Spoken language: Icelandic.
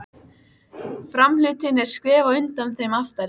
Ekki verður honum meint af félagsskap við okkur!